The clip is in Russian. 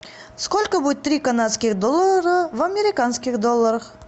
сколько будет три канадских доллара в американских долларах